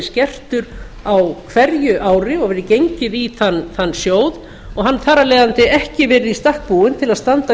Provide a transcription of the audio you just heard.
skertur á hverju ári og verið gengið í þann sjóð og hann þarf af leiðandi ekki verið í stakk búinn til að standa